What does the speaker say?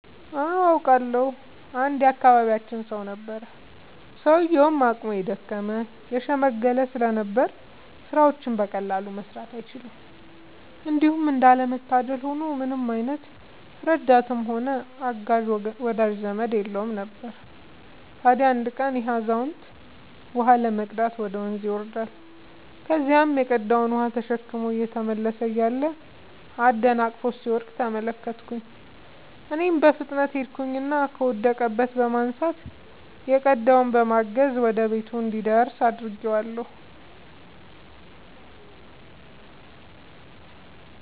አዎ አውቃለሁ። አንድ የአካባቢያችን ሰው ነበረ፤ ሰውዬውም አቅሙ የደከመ የሽምገለ ስለነበር ስራዎችን በቀላሉ መስራት አይችልም። እንዲሁም እንዳለ መታደል ሆኖ ምንም አይነት ረዳትም ሆነ አጋዥ ወዳጅ ዘመድም የለውም ነበር። ታዲያ አንድ ቀን ይሄ አዛውንት ውሃ ለመቅዳት ወደ ወንዝ ይወርዳል። ከዚያም የቀዳውን ውሃ ተሸክሞ እየተመለሰ እያለ አደናቅፎት ሲወድቅ ተመለከትኩኝ እኔም በፍጥነት ሄድኩኝና ከወደቀበት በማንሳት የቀዳውንም በማገዝ ወደ ቤቱ እንዲደርስ አድርጌአለሁ።